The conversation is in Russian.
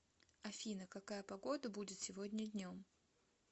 афина какая погода будет сегодня днем